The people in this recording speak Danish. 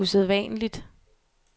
usædvanligt